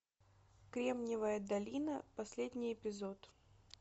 кремниевая долина последний эпизод